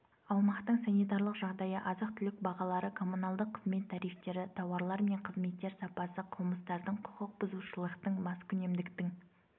аумақтың санитарлық жағдайы азық-түлік бағалары коммуналдық қызмет тарифтері тауарлар мен қызметтер сапасы қылмыстардың құқық бұзушылықтың маскүнемдіктің